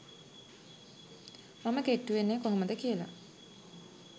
මම කෙට්ටු වෙන්නේ කොහොමද කියලා